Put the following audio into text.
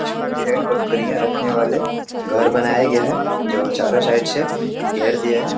इशमें भेड़ बकरियां रखने वाले घर बनाया गया है जो चारों साइड से घेर दिया है।